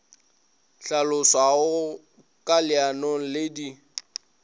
hlaloswago ka leanong le di